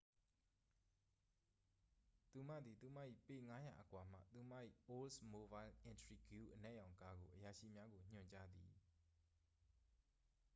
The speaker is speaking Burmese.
သူမသည် သူမ၏ပေ ၅၀၀ အကွာမှ သူမ၏oldsmobile intrigue အနက်ရောင်ကားကို အရာရှိများကို ညွှန်ကြားသည်။